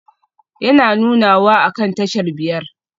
Yana nunawa akan tashar biyar?